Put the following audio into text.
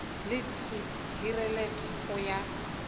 le t hirelet o ya